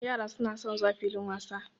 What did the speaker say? Yara suna son zuwa filin wasa.